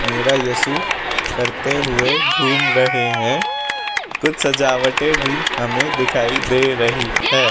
मेरा यशु करते हुए घूम रहे हैं कुछ सजावटे भी हमें दिखाई दे रही है।